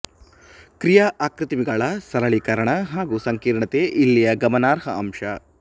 ಕ್ರಿಯಾ ಆಕೃತಿಮಾಗಳ ಸರಳೀಕರಣ ಹಾಗೂ ಸಂಕೀರ್ಣತೆ ಇಲ್ಲಿಯ ಗಮನಾರ್ಹ ಅಂಶ